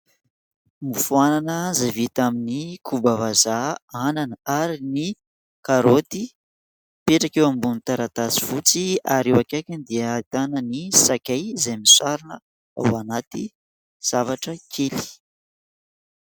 Mofo anana zay vita amin'ny koba vazaha, anana ary ny karoty ; mipetraka eo ambon'ny taratasy fotsy ary eo akaikiny dia ahitana ny sakay izay misarona ao anaty zavatra kely.